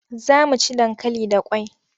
Za mu ci dankali da kwai.